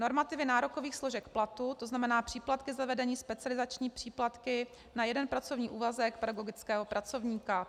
Normativy nárokových složek platu, to znamená příplatky za vedení, specializační příplatky na jeden pracovní úvazek pedagogického pracovníka.